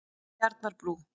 Tjarnarbrú